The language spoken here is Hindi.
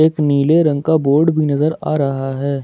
एक नीले रंग का बोर्ड नजर आ रहा है।